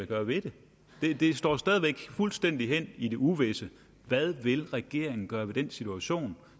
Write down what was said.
gøre ved det det står jo stadig væk fuldstændig hen i det uvisse hvad vil regeringen gøre ved den situation